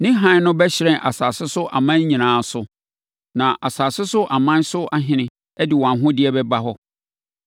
Ne hann no bɛhyerɛn asase so aman nyinaa so, na asase so aman so ahene de wɔn ahodeɛ bɛba hɔ.